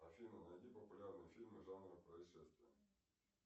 афина найди популярные фильмы жанра происшествия